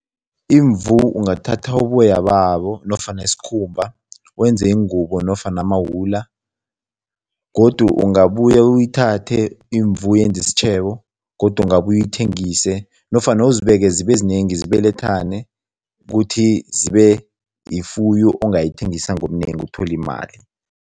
Imvu ungathatha uboya babo nofana isikhumba, wenze ingubo nofana amawula godu ungabuya uyithathe imvu uyenze isitjhebo godu ungabuya uyithengise nofana uzibeke zibezinengi, zibelethane kuthi zibe yifuyo ongayithengisa ngobunengi uthole imali.